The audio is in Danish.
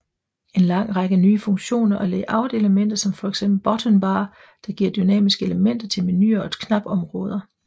En lang række nye funktioner og layoutelementer som fx button bar der giver dynamiske elementer til menuer og knapområder